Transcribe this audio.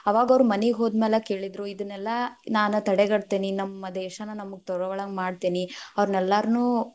ಅವಾಗ ಅವ್ರು ಮನಿಗ ಹೋದ್‌ ಮ್ಯಾಲ ಕೇಳಿದ್ರು, ಇದನ್ನೆಲ್ಲಾ ನಾನ ತಡೆಗಟ್ಟತೇನಿ, ನಮ್ಮ ದೇಶಾನ ನಮಗ ತಗೋಳು ಹಂಗ್‌ ಮಾಡ್ತೀನಿ, ಅವ್ರನ್ನೆಲ್ಲಾನು೯.